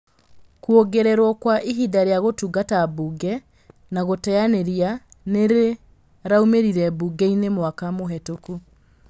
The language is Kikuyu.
Kwongererwo Kwa ihinda rĩa gũtungata mbunge na gũteanĩria nĩrĩraumĩrire mbunge-inĩ mwaka mũhetũku